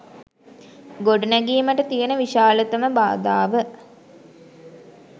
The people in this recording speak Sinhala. ගොඩනැගීමට තියෙන විශාලතම බාධාව